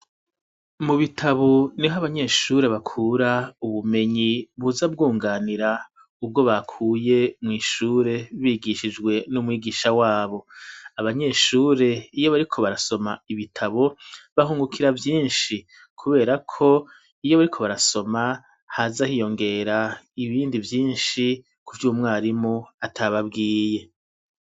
Mu bitabo niho abanyeshuri bakura ubumenyi, buzabwunganira ubwo bakuye mw' ishure, bigishijwe n'umwigisha wabo, abanyeshure iyo bariko barasoma ibitabo, bahungukira vyinshi, kubera ko iyo ariko barasoma hazahiyongera ibindi vyinshi, kury 'umwarimu atababwiye.